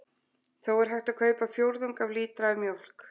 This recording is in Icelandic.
Þó er hægt að kaupa fjórðung af lítra af mjólk.